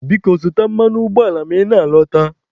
Biko zụta mmanụ ụgbọala ma ị na-alọta.